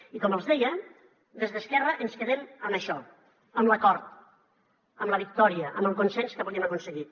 i com els deia des d’esquerra ens quedem amb això amb l’acord amb la victòria amb el consens que avui hem aconseguit